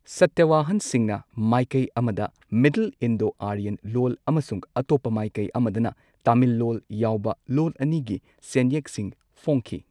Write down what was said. ꯁꯇꯋꯍꯥꯟꯁꯤꯡꯅ ꯃꯥꯏꯀꯩ ꯑꯃꯗ middle Indo Aryan ꯂꯣꯜ, ꯑꯃꯁꯨꯡ ꯑꯇꯣꯞꯄ ꯃꯥꯏꯀꯩ ꯑꯃꯗꯅ ꯇꯥꯃꯤꯜ ꯂꯣꯜ ꯌꯥꯎꯕ ꯂꯣꯟ ꯑꯅꯤꯒꯤ ꯁꯦꯟꯌꯦꯛꯁꯤꯡ ꯐꯣꯡꯈꯤ꯫